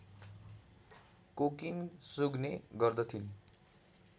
cocaine सुँघ्ने गर्दथिन्